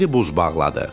Yeri buz bağladı.